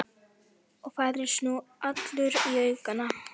Og færðist nú allur í aukana.